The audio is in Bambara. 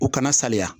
U kana saliya